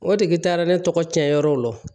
O de taara ne tɔgɔ cɛnyɔrɔw la